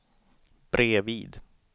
bredvid